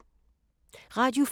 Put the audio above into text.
Radio 4